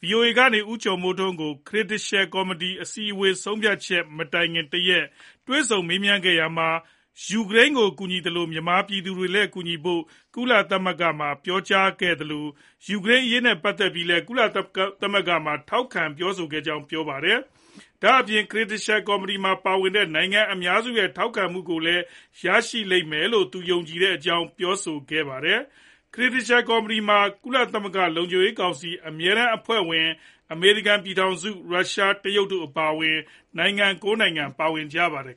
ဗွီအိုအေ ကနေ ဦးကျော်မိုးထွန်း ကို Credential ကော်မတီ အစည်းအဝေး ဆုံးဖြတ်ချက် မတိုင်ခင်တရက် က တွေ့ဆုံမေးမြန်းခဲ့ရာမှာ ယူကရိန်း ကို ကူညီနေသလို မြန်မာပြည်သူတွေကိုလည်း ကူညီဖို့ ကုလသမဂ္ဂမှာ ပြောကြားခဲ့သလို ၊ ယူကရိန်းအရေး နဲ့ ပတ်သက်ပြီးလည်း ကုလသမဂ္ဂမှာ ထောက်ခံပြောကြားခဲ့ကြောင်း ပြောပါတယ်။ ဒါအပြင် Credential ကော်မတီမှာ ပါဝင်တဲ့ နိုင်ငံအများစုရဲ့ ထောက်ခံမှုကို ရရှိလိမ့်မယ်လို့လည်း သူအနေနဲ့ ယုံကြည်ကြောင်း ပြောပါတယ်။ Credential ကော်မတီမှာ ကုလသမဂ္ဂ လုံခြုံရေး ကောင်စီ အမြဲတမ်း အဖွဲ့ဝင် အမေရိကန် ပြည်ထောင်စု၊ ရုရှား ၊ တရုတ် တို့အပါအဝင် နိုင်ငံ ၉ နိုင်ငံပါဝင်ကြပါတယ်